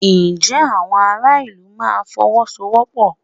Ǹjẹ́ àwọn ará ìlú máa Fọwọ́sowọ́pọ̀?